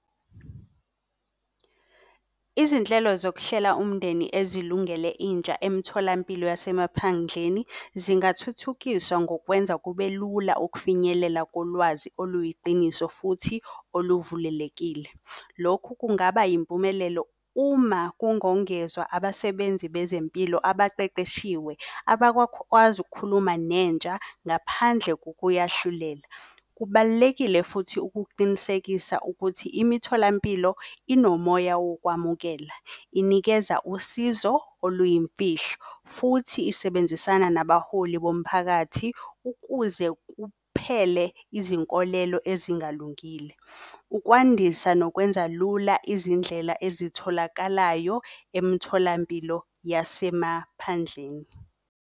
Izinhlelo zokuhlela umndeni ezilungele intsha emtholampilo yasemaphandleni, zingathuthukiswa ngokwenza kube lula ukufinyelela kolwazi oluyiqiniso futhi oluvulelekile. Lokhu kungaba yimpumelelo, uma kungongezwa abasebenzi bezempilo abaqeqeshiwe abakwazi ukukhuluma nentsha ngaphandle kokuyahlulela. Kubalulekile futhi ukuqinisekisa ukuthi imitholampilo inomoya wokwamukela, inikeza usizo oluyimfihlo, futhi isebenzisana nabaholi bomphakathi ukuze kuphele izinkolelo ezingalungile, Ukwandisa nokwenza lula izindlela ezitholakalayo emtholampilo yasemaphandleni.